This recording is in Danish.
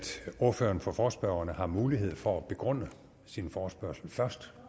ordføreren for forespørgerne har mulighed for at begrunde sin forespørgsel først